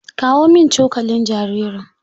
Kawo min cokalin jaririn!